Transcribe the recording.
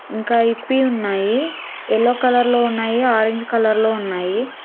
ఇంకా ఇప్పి ఉన్నాయి యెల్లో కలర్ లో ఉన్నాయి ఆరెంజ్ కలర్ లో ఉన్నాయి.